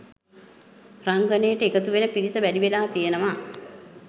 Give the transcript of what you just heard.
රංගනයට එකතුවෙන පිරිස වැඩිවෙලා තියෙනවා